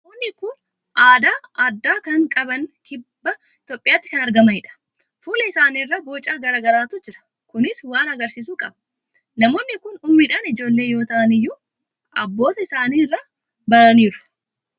Namoonni kun aadaa addaa kan qaban kibba Itoophiyaatti kan argamanidha. Fuula isaanii irra boca garaa garaatu jira. Kunis waan argisiisu qaba. Namoonni kun umuriidhaan ijoollee yoo ta'an iyyuu, abboota isaanii irraa baraniiru.